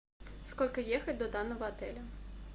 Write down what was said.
сколько ехать до данного отеля